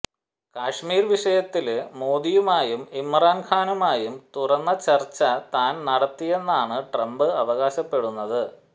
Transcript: കശ്മീര് വിഷയത്തില് മോദിയുമായും ഇമ്രാന് ഖാനുമായും തുറന്ന ചര്ച്ച താന് നടത്തിയെന്നാണ് ട്രംപ് അവകാശപ്പെടുന്നത്